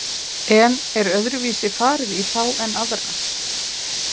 En er öðruvísi farið í þá en aðra?